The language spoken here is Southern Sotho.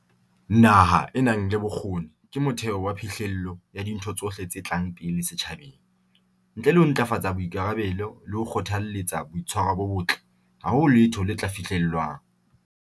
Naha e nang le bokgoni ke motheo wa phihlello ya dintho tsohle tse tlang pele setjhabeng. Ntle le ho ntlafatsa boikarabello le ho kgothaletsa boitshwaro bo botle, ha ho letho le tla fihlellwang.